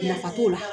Nafa t'o la